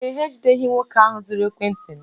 Ee e, ha ejideghị nwoke ahụ zuru ekwentị m